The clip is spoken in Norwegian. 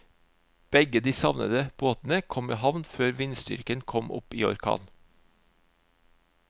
Begge de savnede båtene kom i havn før vindstyrken kom opp i orkan.